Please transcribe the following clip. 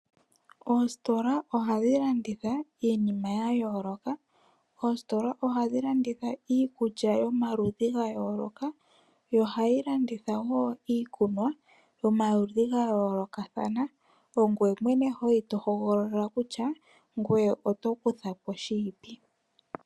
Oositola ohadhi landitha iinima ya yooloka ngaashi iikulya yomaludhi ga yooloka oshowo iikunwa yomaludhi ga yooloka ongweye mwene to hogolola shoka tokutha po.